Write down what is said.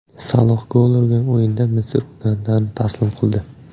Saloh gol urgan o‘yinda Misr Ugandani taslim qildi .